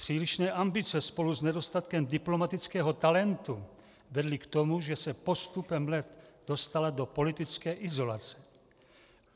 Přílišné ambice spolu s nedostatkem diplomatického talentu vedly k tomu, že se postupem let dostala do politické izolace.